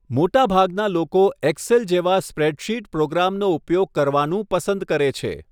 મોટાભાગના લોકો એક્સેલ જેવા સ્પ્રેડશીટ પ્રોગ્રામનો ઉપયોગ કરવાનું પસંદ કરે છે.